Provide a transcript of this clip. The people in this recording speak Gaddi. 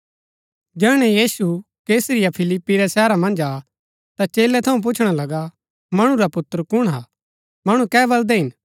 जैहणै यीशु कैसरिया फिलिप्पी रै शहरा मन्ज आ ता चेलै थऊँ पुछणा लगा मणु रा पुत्र कुण हा मणु कै बलदै हिन